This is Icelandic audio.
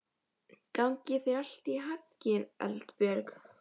Gangi þér allt í haginn, Eldbjörg.